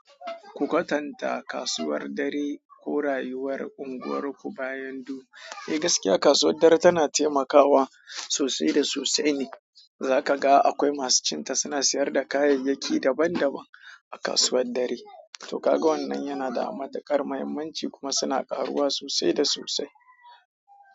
Ku kwatanta kasuwar dare ko rayuwar unguwarku bayan du. Eh gaskiya kasuwar dare tana taimakawa sosai da sosai ne. Zaka ga akwai masu cin ta suna sayar da kayayyaki daban daban a kasuwar dare. To ga wannan yana da matukar l muhimmanci kuma suna karuwa sosai da sosai.